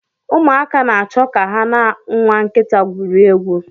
Ụmụaka na-achọ ka ha na nwa nkịta gwurie egwu.